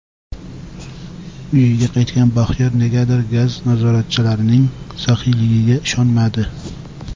Uyiga qaytgan Baxtiyor negadir gaz nazoratchilarining saxiyligiga ishonmadi.